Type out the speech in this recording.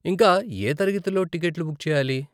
ఇంకా ఏ తరగతిలో టికెట్లు బుక్ చేయాలి?